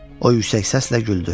O yüksək səslə güldü.